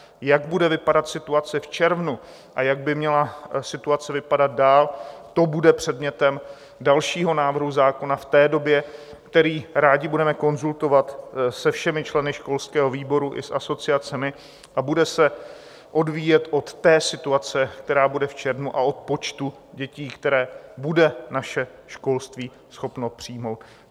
Jak bude vypadat situace v červnu a jak by měla situace vypadat dál, to bude předmětem dalšího návrhu zákona v té době, který rádi budeme konzultovat se všemi členy školského výboru i s asociacemi a bude se odvíjet od té situace, která bude v červnu, a od počtu dětí, které bude naše školství schopno přijmout.